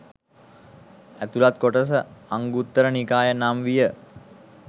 ඇතුළත් කොටස අංගුත්තර නිකාය නම් විය